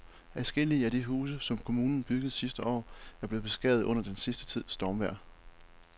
Adskillige af de huse, som kommunen byggede sidste år, er blevet beskadiget under den sidste tids stormvejr.